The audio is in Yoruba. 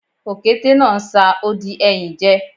Òkété náà ń sa odi ẹyìn jẹ